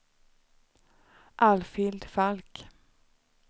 Alfhild Falk